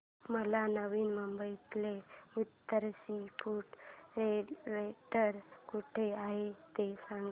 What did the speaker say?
मला नवी मुंबईतलं उत्तम सी फूड रेस्टोरंट कुठे आहे ते सांग